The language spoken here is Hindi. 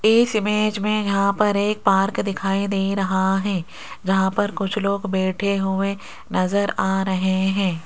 इस इमेज में यहां पर एक पार्क दिखाई दे रहा है जहां पर कुछ लोग बैठे हुए नजर आ रहे हैं।